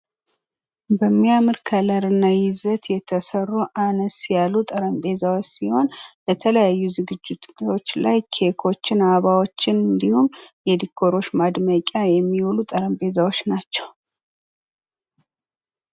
የማስጌጥ ዘይቤዎች እንደ ጣዕምና እንደ ወቅቱ ፋሽን የሚለያዩ ሲሆን ዘመናዊ፣ ባህላዊና ገጠርን ያካትታሉ።